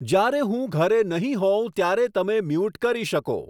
જયારે હું ઘરે નહીં હોઉં ત્યારે તમે મ્યુટ કરી શકો